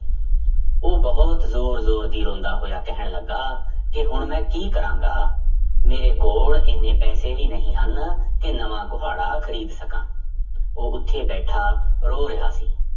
ਉਹ ਬਹੁਤ ਜ਼ੋਰ ਜ਼ੋਰ ਦੀ ਰੋਂਦਾ ਹੋਇਆ ਕਹਿਣ ਲੱਗਾ ਕਿ ਹੁਣ ਮੈਂ ਕੀ ਕਰਾਂਗਾ, ਮੇਰੇ ਕੋਲ ਇੰਨੇ ਪੈਸੇ ਵੀ ਨਹੀਂ ਹਨ ਕਿ ਨਵਾਂ ਕੁਹਾੜਾ ਖ਼ਰੀਦ ਸਕਾਂ ਉਹ ਉੱਥੇ ਬੈਠਾ ਰੋ ਰਿਹਾ ਸੀ